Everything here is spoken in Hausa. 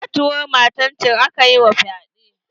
Ƙatuwar matan can aka yi ma fyaɗe.